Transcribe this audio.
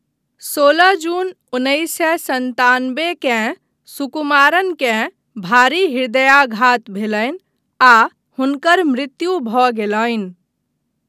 सोलह जून उन्नैस सए सन्तानबे केँ, सुकुमारनकेँ भारी हृदयाघात भेलनि आ हुनकर मृत्यु भऽ गेलनि।